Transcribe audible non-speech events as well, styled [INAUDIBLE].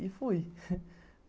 E fui [LAUGHS]